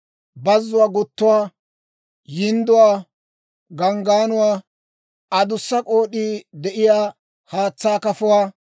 bazzuwaa guttuwaa, yindduwaa, ganggaanuwaa, adussa k'ood'ii de'iyaa haatsaa kafuwaa,